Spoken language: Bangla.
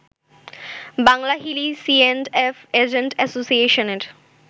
বাংলাহিলি সিএন্ডএফ এজেন্ট অ্যাসোসিয়েশনের